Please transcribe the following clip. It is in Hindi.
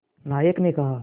नायक ने कहा